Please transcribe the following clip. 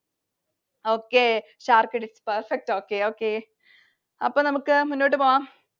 Okay. perfect okay. അപ്പൊ നമുക്ക് മുന്നോട്ട് പോകാം.